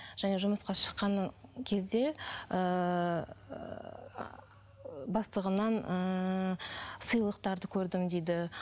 және жұмысқа шыққан кезде ыыы бастығымнан ыыы сыйлықтарды көрдім дейді